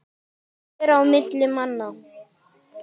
Að vera á milli manna!